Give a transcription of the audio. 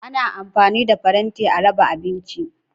Ana amfani da faranti a raba abinci.